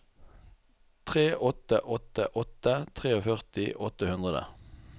tre åtte åtte åtte førtitre åtte hundre